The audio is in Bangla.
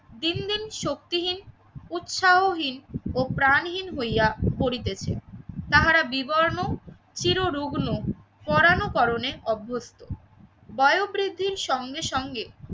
দিন দিন শক্তিহীন উৎসাহহীন ও প্রাণহীন হইয়া পরিতেছে। তাহারা বিবর্ণ চির রুগ্ন পরানুকরণে অভ্যস্ত। বায়ু বৃদ্ধির সঙ্গে সঙ্গে